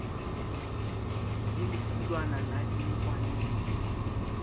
le lequlwana la dinokwane le